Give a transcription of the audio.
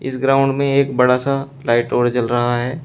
इस ग्राउंड में एक बड़ा सा लाइट और जल रहा है।